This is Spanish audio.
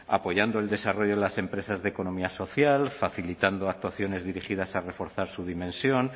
apoyando el desarrollo de las empresas de economía social facilitando actuaciones dirigidas a reforzar su dimensión